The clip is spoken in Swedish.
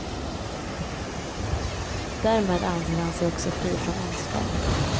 Därmed anser han sig också fri från ansvar.